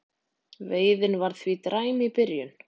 Veiðin var því dræm í byrjun